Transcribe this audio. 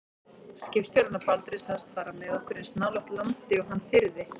Skipstjórinn á Baldri sagðist fara með okkur eins nálægt landi og hann þyrði.